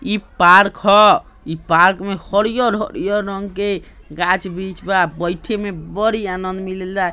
इ पार्क ह इ पार्क में हरियर-हरियर रंग के गाछ-बृक्ष हे बइठे में बड़ी आनंद मिलेला।